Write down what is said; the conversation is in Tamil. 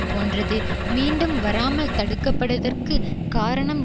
போன்றது மீண்டும் வராமல் தடுக்கப்பட்டதற்கு காரணம்